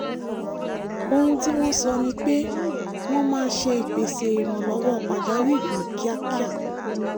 ohun tí wọ́n sọ ni pé wọ́n máa ṣe ìpèsè ìrànlọ́wọ́ pàjáwìrì ní kíákíá